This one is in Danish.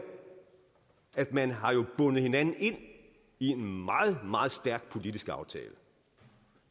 at man har bundet hinanden ind i en meget meget stærk politisk aftale det